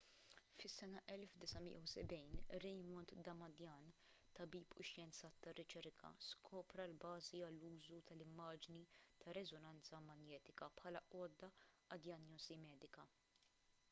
fis-sena 1970 raymond damadian tabib u xjenzat tar-riċerka skopra l-bażi għall-użu tal-immaġni tar-reżonanza manjetika bħala għodda għad-dijanjosi medika